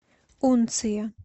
унция